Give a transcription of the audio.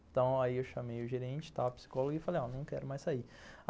Então, aí eu chamei o gerente, a psicóloga e falei, ó, não quero mais sair.